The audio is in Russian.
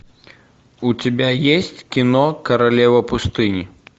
у тебя есть кино королева пустыни